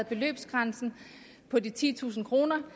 beløbsgrænsen på de titusind kroner